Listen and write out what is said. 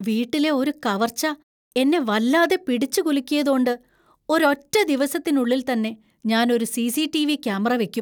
വീട്ടിലെ ഒരു കവർച്ച എന്നെ വല്ലാതെ പിടിച്ചുകുലുക്കിയതോണ്ട് ഒരൊറ്റ ദിവസത്തിനുള്ളിൽത്തന്നെ ഞാൻ ഒരു സി.സി.ടി.വി. ക്യാമറ വെക്കും.